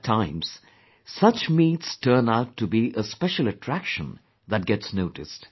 At times, such meets turn out to be a special attraction that gets noticed